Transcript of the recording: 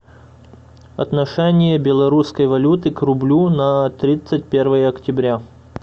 отношение белорусской валюты к рублю на тридцать первое октября